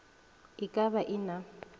e ka ba e na